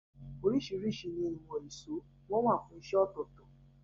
Orísìrísi ni ìwòn ìsó, won wa fún isẹ́ òtòtò